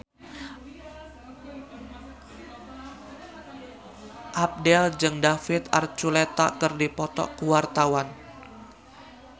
Abdel jeung David Archuletta keur dipoto ku wartawan